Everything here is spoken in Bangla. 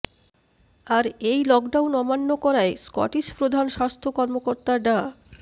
আর এই লকডাউন অমান্য করায় স্কটিশ প্রধান স্বাস্থ্য কর্মকর্তা ডা